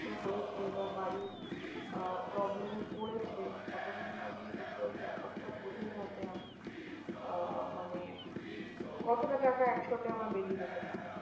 হয়েছে বা বাড়ির আহ problem এ পড়েছে ততদিন মানে লোকে ওই ব্যাপারটা বোঝেনা যে, আহ মানে কতটা টাকা একসাথে আমার বেরিয়ে যেতে পারে?